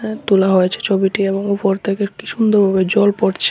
তোলা হয়েছে ছবিটি এবং উপর থেকে একটি সুন্দর ভাবে জল পড়ছে।